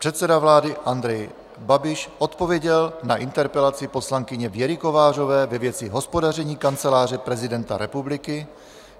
Předseda vlády Andrej Babiš odpověděl na interpelaci poslankyně Věry Kovářové ve věci hospodaření Kanceláře prezidenta republiky.